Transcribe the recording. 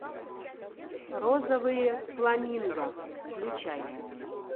розовые фламинго включай